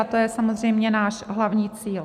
A to je samozřejmě náš hlavní cíl.